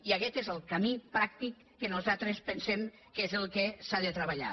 i aquest és el camí pràctic que nosaltres pensem que és el que s’ha de treballar